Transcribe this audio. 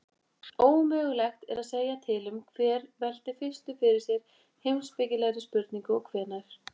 Ómögulegt er að segja til um hver velti fyrstur fyrir sér heimspekilegri spurningu og hvenær.